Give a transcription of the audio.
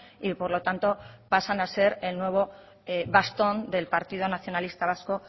y por lo tanto pasan a ser el nuevo bastón del partido nacionalista vasco